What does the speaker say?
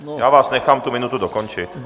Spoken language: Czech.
Já vás nechám tu minutu dokončit.